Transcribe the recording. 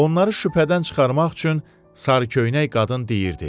Onları şübhədən çıxarmaq üçün sarıköynək qadın deyirdi: